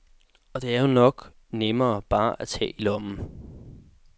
Og det er jo nok nemmere bare at tage i lommen.